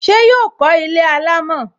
Ṣé yọ kó ilé alámọ̀?